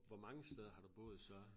Hvor mange steder har du boet så?